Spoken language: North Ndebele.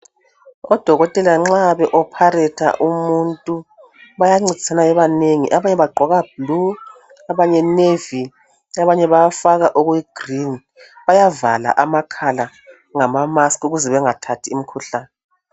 udokotela nxa be opharetha umuntu bayancedisana bebanengi abanye bagqoka blue abanye nevi abanye bayafaka okuyi green bayavala amakhala ngama mask ukuze bengathathi imikhuhlane